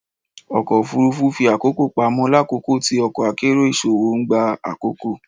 Ọkọ ofurufu fi akoko pamọ lakoko ti ọkọ akero iṣowo n gba akoko.